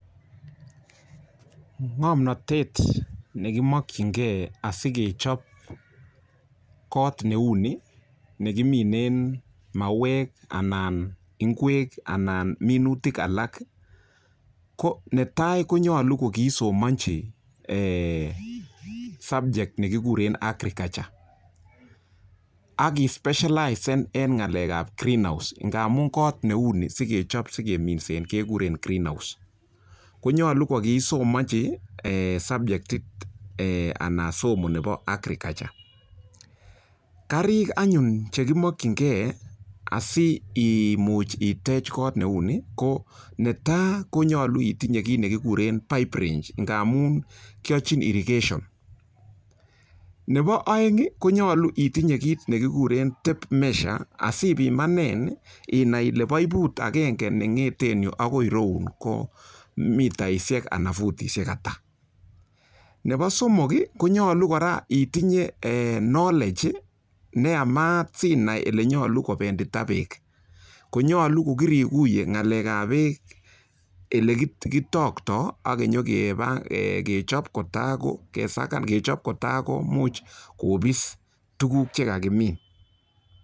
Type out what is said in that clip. Ng'omnatet ne kimokinge asikechob kot neu ni, nekiminen mauwek anan ngwek anan minutik alak ko netai konyolu kogiisomonchi subject ne kikuren agriculture ak i specialize en ng'alek ab greenhouse ngamun kot neu ni sikechob sikeminsen kekuren greenhouse konyolu ko kiisomonchi subject anan somo nebo agriculture . Karik anyun che kimokinge asi imuch itech kot neu ni ko netai: konyolu itinye kit ne kikuren pipe range ngamun kiyochin irrigation nebo oeng konyolu itinye kit ne kikuren tape measure asipimanen inai ile baibut agenge ne ng'eten yu agoi ireyun ko mitaishek ana futishek ata? Nebo somok konyolu kora itinye knowledge ne yamat sinai ele nyolu kobendita beek. KOnyolu ko kirikuye ng'alek ab beek ele kitokto ak kenyokeba kechop kotago kesakan kechop kotakomuch kobis tuguk che kagimin.